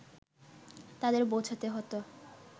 তাদের বোঝাতে হতো